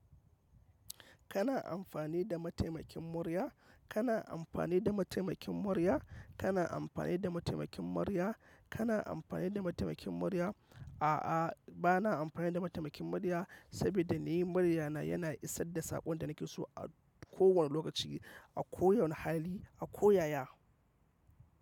Kana amfani da mataimakin murya? Kana amfani da mataimakin murya? Kana amfani da mataimakin murya? Kana amfani da mataimakin murya? A'a, ba na amfani da mataimakin murya, saboda ni murya na yana isar da saƙon da nake so a kowane lokaci, a kowane hali, a ko yaya.